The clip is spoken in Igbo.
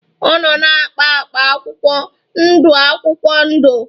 Ọ nọ na-akpa akpa akwụkwọ ndụ akwụkwọ ndụ.